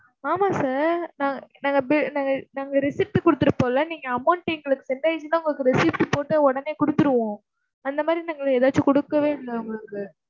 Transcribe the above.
ஆமா sir நா~ நாங்க bill நாங்க நாங்க receipt கொடுத்திருப்போம் இல்ல. நீங்க amount எங்களுக்கு send ஆயிருந்துன்னா, உங்களுக்கு receipt போட்டு உடனே கொடுத்திருவோம். அந்த மாதிரி நாங்கள் ஏதாச்சும் கொடுக்கவே இல்லை உங்களுக்கு.